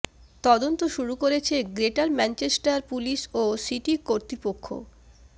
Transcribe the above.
তদন্ত শুরু করেছে গ্রেটার ম্যাঞ্চেস্টার পুলিশ ও সিটি কতৃপক্ষ